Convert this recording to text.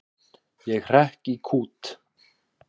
Ég hrekk í kút.